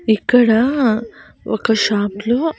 ఇక్కడా ఒక షాప్ లో .